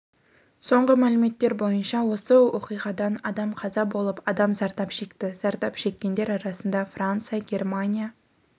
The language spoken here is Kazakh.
соңғы мәліметтер бойынша осы оқиғадан адам қаза болып адам зардап шекті зардап шеккендер арасында франция германия